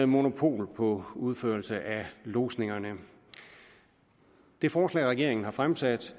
monopol på udførelse af lodsningerne det forslag regeringen har fremsat